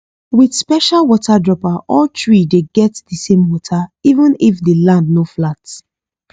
with special water dropper all tree dey get di same water even if di land no flat